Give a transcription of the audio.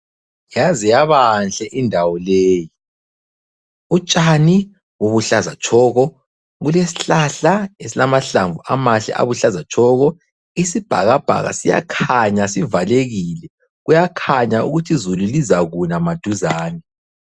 Yaze yabanhle indawo leyi. Utshani, bubuhlaza tshoko, kulesihlahla esilamahlamvu amahle abuhlaza tshoko. Isibhakabhaka siyakhanya sivalekile. Kuyakhanya ukuthi izulu lizakuna maduzane.